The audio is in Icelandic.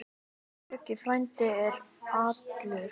Böggi frændi er allur.